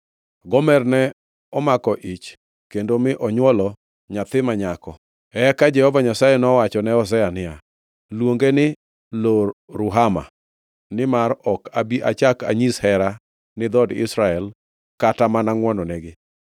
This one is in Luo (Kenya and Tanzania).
Gomer ne omako ich kendo mi onywolo nyathi ma nyako. Eka Jehova Nyasaye nowachone Hosea niya, “Luonge ni Lo-Ruhama nimar ok abi achak anyis hera ni dhood Israel kata mana ngʼwononegi.